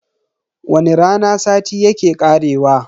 Wani rana sati yake karewa.